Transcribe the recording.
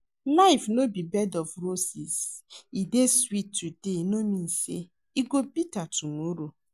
Life no be bed of roses. E dey sweet today no mean say e no go bitter tomorrow